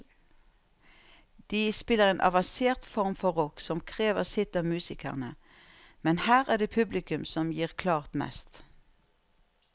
De spiller en avansert form for rock som krever sitt av musikerne, men her er det publikum som gir klart mest.